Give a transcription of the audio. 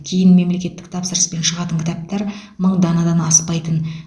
кейін мемлекеттік тапсырыспен шығатын кітаптар мың данадан аспайтын